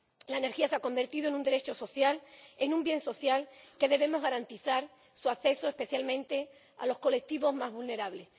La energía se ha convertido en un derecho social, en un bien social, cuyo acceso debemos garantizar, especialmente a los colectivos más vulnerables.